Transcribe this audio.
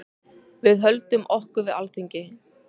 Við höldum okkur við Alþingi.